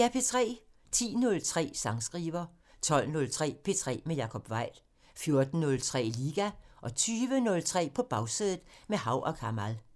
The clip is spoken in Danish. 10:03: Sangskriver 12:03: P3 med Jacob Weil 14:03: Liga 20:03: På Bagsædet – med Hav & Kamal